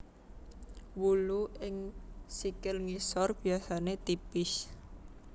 Wulu ing sikil ngisor biasane tipis